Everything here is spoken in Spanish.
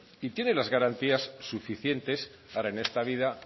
y tiene las garantías suficientes para en esta vida